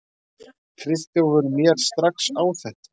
Friðþjófur mér strax á þetta.